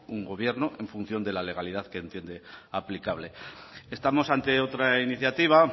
un gobierno en función de la legalidad que entiende aplicable estamos ante otra iniciativa